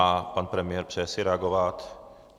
A pan premiér si přeje reagovat?